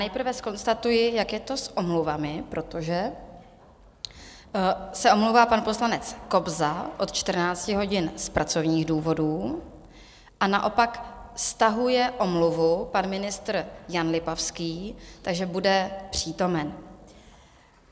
Nejprve zkonstatuji, jak je to s omluvami, protože se omlouvá pan poslanec Kobza od 14 hodin z pracovních důvodů a naopak stahuje omluvu pan ministr Jan Lipavský, takže bude přítomen.